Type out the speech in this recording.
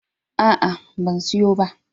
A'a, ban siyo ba.